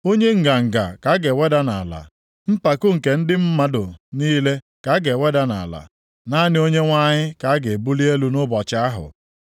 Onye nganga ka a ga-eweda nʼala, mpako nke ndị mmadụ niile ka a ga-eweda nʼala. Naanị Onyenwe anyị ka a ga-ebuli elu nʼụbọchị ahụ.